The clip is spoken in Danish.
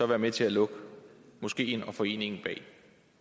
være med til at lukke moskeen og foreningen bag